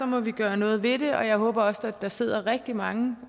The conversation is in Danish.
må vi gøre noget ved det jeg håber også at der sidder rigtig mange